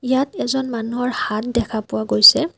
ইয়াত এজন মানুহৰ হাত দেখা পোৱা গৈছে।